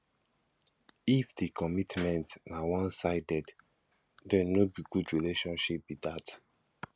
if di commitment na one sided then no be good relationship be that